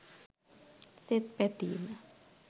සෙත් පැතීම